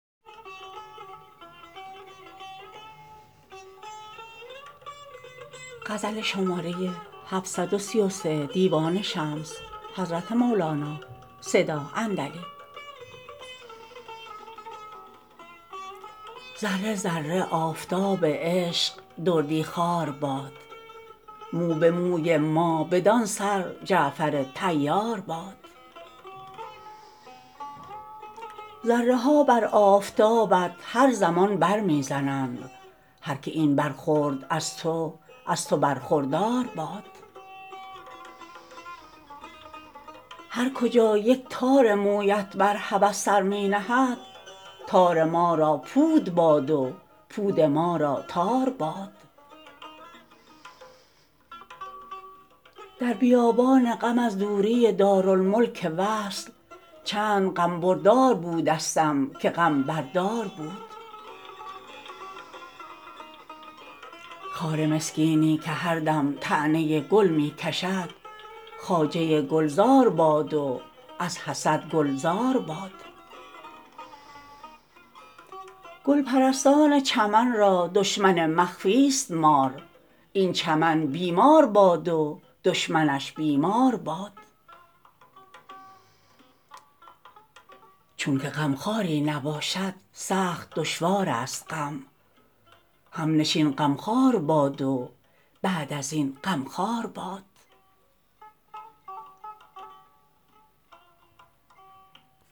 ذره ذره آفتاب عشق دردی خوار باد مو به موی ما بدان سر جعفر طیار باد ذره ها بر آفتابت هر زمان بر می زنند هر که این بر خورد از تو از تو برخوردار باد هر کجا یک تار مویت بر هوس سر می نهد تار ما را پود باد و پود ما را تار باد در بیابان غم از دوری دارالملک وصل چند غم بردار بودستم که غم بر دار باد خار مسکینی که هر دم طعنه گل می کشد خواجه گلزار باد و از حسد گل زار باد گل پرستان چمن را دشمن مخفیست مار این چمن بی مار باد و دشمنش بیمار باد چونک غمخواری نباشد سخت دشوارست غم همنشین غمخوار باد و بعد از این غم خوار باد